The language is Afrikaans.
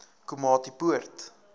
komatipoort